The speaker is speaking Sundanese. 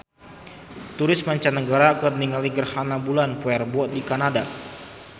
Turis mancanagara keur ningali gerhana bulan poe Rebo di Kanada